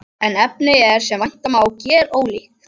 En efnið er, sem vænta má, gerólíkt.